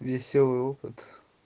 весёлый опыт